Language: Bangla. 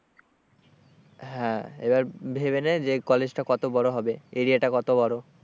হ্যাঁ, এবার ভেবে নে যে কলেজ টা কত বড় হবে area টা কত বড়,